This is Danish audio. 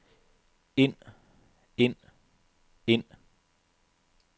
ind ind ind